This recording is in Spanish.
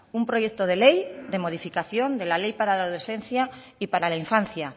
un proyecto de ley de modificación de la ley para la adolescencia y para la infancia